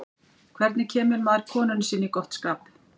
hvernig kemur maður konunni sinni í gott skap